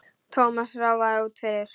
Thomas ráfaði út fyrir.